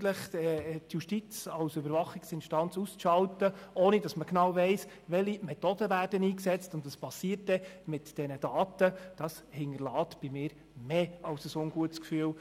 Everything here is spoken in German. dass die Justiz als Überwachungsinstanz 30 Tage lang ausgeschaltet wird, ohne dass man genau weiss, welche Methoden man einsetzt und was mit den Daten passiert, hinterlässt bei mir mehr als nur ein ungutes Gefühl.